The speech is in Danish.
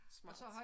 Smart